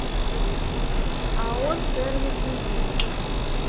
ао сервис недвижимость